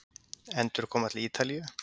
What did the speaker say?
Endurkoma til Ítalíu?